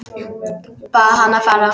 Bað hann að fara.